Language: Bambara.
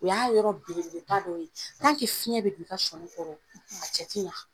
O y'a yɔrɔ belebeleba dɔ ye. Tan ke fiɲɛ bi don i ka sɔni kɔrɔ , a cɛ ti ɲa.